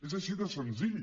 és així de senzill